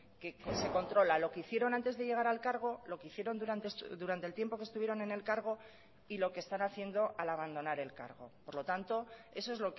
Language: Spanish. que se controla lo que hicieron antes de llegar al cargo lo que hicieron durante el tiempo que estuvieron en el cargo y lo que están haciendo al abandonar el cargo por lo tanto eso es